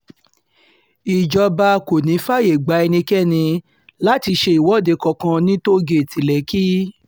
ìjọba kò ní í fààyè gba ẹnikẹ́ni láti ṣe ìwọ́de kankan ní tóò-gẹ̀ẹ́tì lẹ́kì